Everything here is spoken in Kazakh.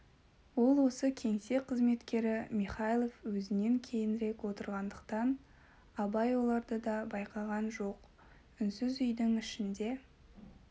ол осы кеңсе қызметкері михайлов өзінен кейінрек отырғандықтан абай оларды да байқаған жоқ үнсіз үйдің ішінде